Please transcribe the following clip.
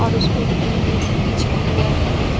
और उसेपे green mat बिछा हुआ है।